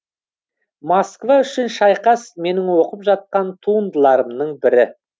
москва үшін шайқас менің оқып жатқан туындыларымның бірі